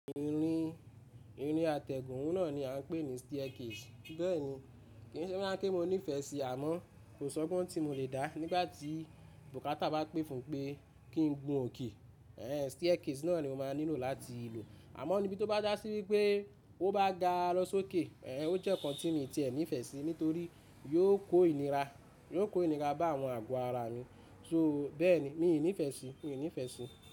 Irin, irin atẹ́gùn oun náà ni a ń pè ní staircase. Bẹ́ẹ̀ni kí n se boya n pé mo nífẹ̀ẹ́ sí i àmọ́ kò sọ́gbon tí mo le dá nígbà tí bùkátà bá pè fún pé kí n gun òkè, ẹẹ́ staircase náà ni mo máa nílò láti lò. Àmọ́ níbi tó bá jásí wípé ó bá ga lọ sókè, ẹẹ́ ó jẹ́ nǹkan tí mo ti ẹ̀ nífẹ̀ẹ́ sí, nítorí yóò kó ìnira, yóò kó ìnira bá àwọn àgọ́ ara mi. So bẹ́ẹ̀ ni, mi ò ní ìfẹ́ sí i, mi ò ní ìfẹ́ sí i.